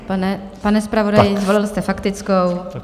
Pane zpravodaji, zvolil jste faktickou...